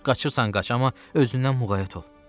Coç, qaçırsan qaç, amma özündən muğayət ol.